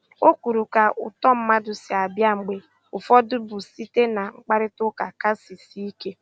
O kwuru ka uto mmadụ si abịa mgbe ụfọdụ bụ site na mkparitauka kasị sie ike.